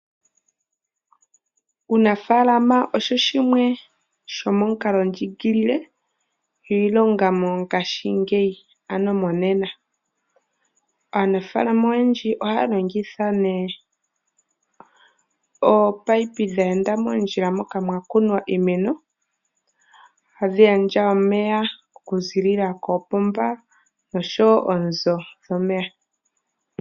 Uunafalama osho shimwe shomomukalondjiigilile iilonga mongashingeyi ano monena. Aanafalama oyendji ohaya longitha nee ominino dha enda mondjila moka mwa kunwa iimeno tadhi gandja omeya okuzilila koopomba oshowo oonzo dhomeya.